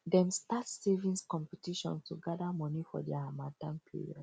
dem start savings competition to gather money for dia harmattan period